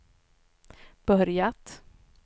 börjat